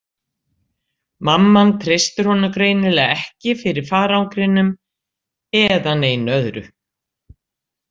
Mamman treystir honum greinilega ekki fyrir farangrinum eða neinu öðru.